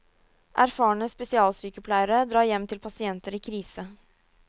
Erfarne spesialsykepleiere drar hjem til pasienter i krise.